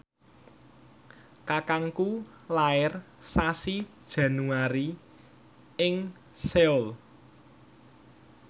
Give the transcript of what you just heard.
kakangku lair sasi Januari ing Seoul